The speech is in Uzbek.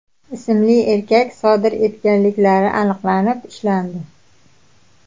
ismli erkak sodir etganliklari aniqlanib, ushlandi.